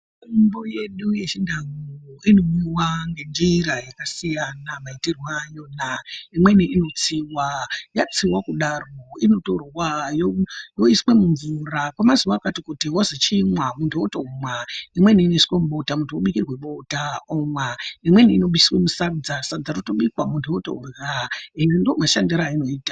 Mitombo yedu yechindau inomwiwa ngenzira dzakasiyana maitirwe ayona, imweni inotswiwa, yatswiwa kudaro inotorwa yoiswa mumvura kwemazuva akati kuti wonzi chimwa otomwa, imweni inoiswa mubota, muntu obikirwe bota omwa, imweni inoiswa musadza, sadza rotobikwa vantu votorya ende ndomashandiro ayinoita.